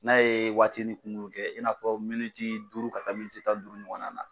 N'a ye waatinin kunkuru kɛ in n'a fɔ miniti duuru ka taa miniti tan ni duuru ɲɔgɔn na